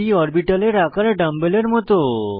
p অরবিটালের আকার ডাম্বেলের মত